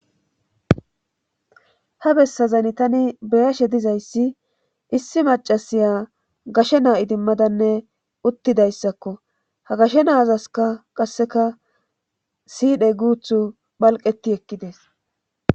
ha bessazani tani beyashe dizayssi issi macasiya gashe naa7idimmadanne uttidayssakko ha gashe naazaska qasseka sidhey guuthu palqeti ekkides